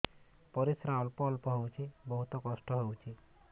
ପରିଶ୍ରା ଅଳ୍ପ ଅଳ୍ପ ହଉଚି ବହୁତ କଷ୍ଟ ହଉଚି